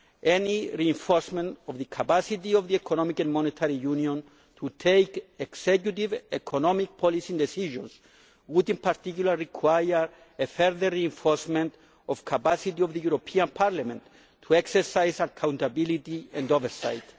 Any reinforcement of the capacity of Economic and Monetary Union to take executive economic policy decisions would in particular require further reinforcement of the capacity of the European Parliament to exercise accountability and oversight.